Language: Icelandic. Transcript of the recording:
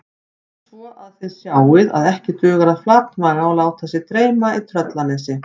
Svo að þið sjáið að ekki dugar að flatmaga og láta sig dreyma í Tröllanesi